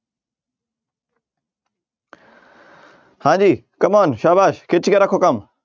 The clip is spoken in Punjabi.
ਹਾਂਜੀ come-on ਸਾਬਾਸ਼ ਖਿੱਚ ਕੇ ਰੱਖੋ ਕੰਮ।